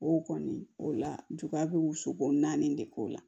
O kɔni o la juguya be wusu ko naani de k'o la